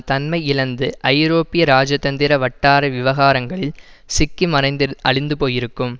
தன்மை இழந்து ஐரோப்பிய ராஜதந்திர வட்டார விவகாரங்களில் சிக்கி மறைந்து அழிந்து போயிருக்கும்